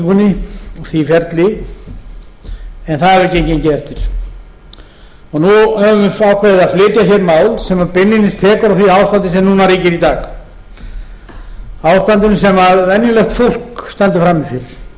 og því ferli en það hefur ekki gengið eftir nú höfum við ákveðið að flytja hér mál sem beinlínis tekur á því ástandi sem núna ríkir í dag ástandinu sem venjulegt fólk stendur frammi fyrir og